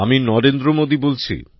আমি নরেন্দ্র মোদী বলছি